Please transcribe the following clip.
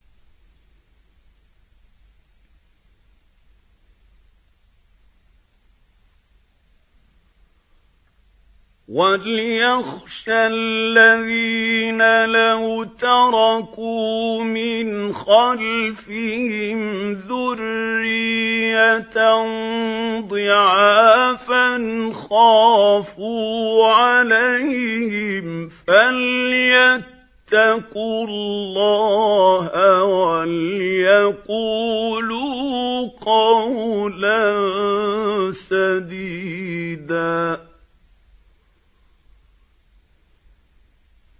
وَلْيَخْشَ الَّذِينَ لَوْ تَرَكُوا مِنْ خَلْفِهِمْ ذُرِّيَّةً ضِعَافًا خَافُوا عَلَيْهِمْ فَلْيَتَّقُوا اللَّهَ وَلْيَقُولُوا قَوْلًا سَدِيدًا